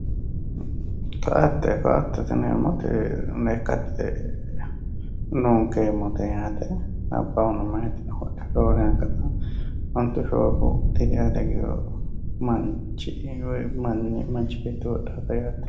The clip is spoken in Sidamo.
Koatte, koattete yineemmoti lekkate lunkeemmote yaate labbahuno mayitino horonsiranote ,roore anga ontu shoolu diri ale higgino manchi woyi manchi beetti wodhanote yaate.